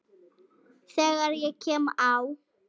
Þegar ég kem á